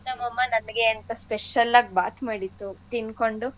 ನಮ್ಮಮ್ಮ ನನ್ಗೆ ಅಂತ special ಆಗ್ ಬಾತ್ ಮಾಡಿತ್ತು ತಿನ್ಕೊಂಡು.